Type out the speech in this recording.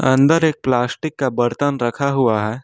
अंदर एक प्लास्टिक का बर्तन रखा हुआ है।